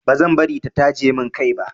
Ba zan bari ta taje min kai ba.